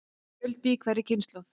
Fjöldi í hverri kynslóð.